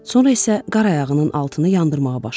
Sonra isə qar ayağının altını yandırmağa başladı.